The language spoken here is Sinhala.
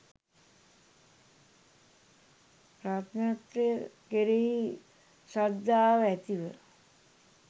රත්නත්‍රය කෙරෙහි ශ්‍රද්ධාව ඇති ව